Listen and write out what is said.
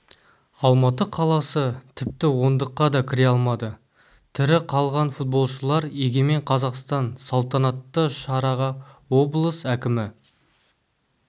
алматы қаласы тіпті ондыққа да кіре алмады тірі қалған футболшылар егемен қазақстан салтанатты шараға облыс әкімі